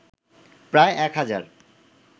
প্রায় ১ হাজার